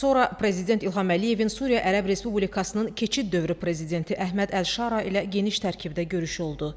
Sonra prezident İlham Əliyevin Suriya Ərəb Respublikasının keçid dövrü prezidenti Əhməd Əlşara ilə geniş tərkibdə görüşü oldu.